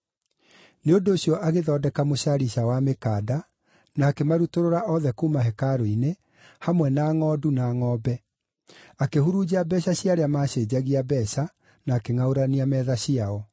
Nĩ ũndũ ũcio agĩthondeka mũcarica wa mĩkanda, na akĩmarutũrũra othe kuuma hekarũ-inĩ, hamwe na ngʼondu, na ngʼombe; akĩhurunja mbeeca cia arĩa maacenjagia mbeeca na akĩngʼaũrania metha ciao.